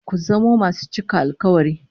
Ku zamo masu cika alkawari